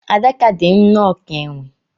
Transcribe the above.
Adaka dị nnọọ ka enwe.